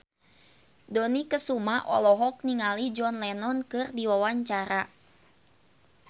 Dony Kesuma olohok ningali John Lennon keur diwawancara